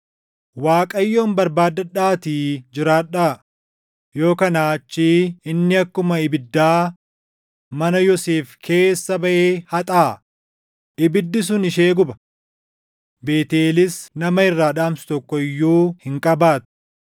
Waaqayyoon barbaaddadhaatii jiraadhaa; yoo kanaa achii inni akkuma ibiddaa // mana Yoosef keessa baʼee haxaaʼaa; ibiddi sun ishee guba; Beetʼeelis nama irraa dhaamsu tokko iyyuu // hin qabaattu.